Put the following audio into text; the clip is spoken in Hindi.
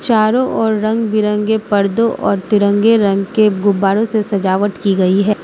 चारों ओर रंग बिरंगे पर्दों और तिरंगे रंग के गुब्बारों से सजावट की गई है।